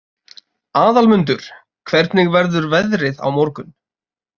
Aðalmundur, hvernig verður veðrið á morgun?